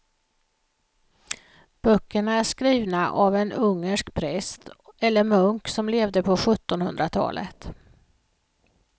Böckerna är skrivna av en ungersk präst eller munk som levde på sjuttonhundratalet.